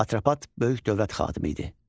Atropat böyük dövlət xadimi idi.